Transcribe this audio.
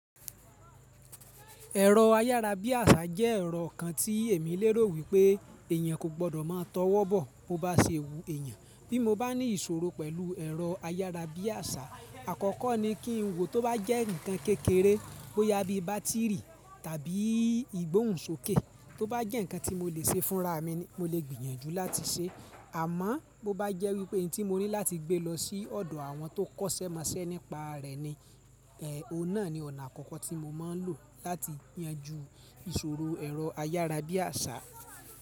Ẹ̀rọ ayárabíàṣá jẹ́ ẹ̀rọ kan tí èmi lérò wípé èeyàn kò gbọ́dọ̀ má tọwọ́ bọ̀ bó bá ṣe wu eèyàn. Bí mo bá ní ìṣòro pẹ̀lú ẹ̀rọ ayárabíàṣá, àkọ́kọ́ ni kí n wo tó bá jẹ́ ǹnkan kékeré bó yá bí bátìrì tàbí ìgbóhùnsókè, tó bá jẹ́ ǹnkan tí mo lè ṣe fúnra mi ni, mo lè gbìyànjú láti ṣe. Àmọ́ bó bá jẹ́ wípé n tí mo ní láti gbé lọ sí ọ̀dọ̀ àwọn tó kọ́ṣẹ́ mọṣẹ́ nípa rẹ̀ ni, ọ̀un naà ni ona àkọ́kọ́ tí mo máa ń lò láti yanjú ìṣòro ẹ̀rọ ayárabíàṣá.